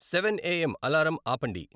Seven AM. Alarm ఆపండి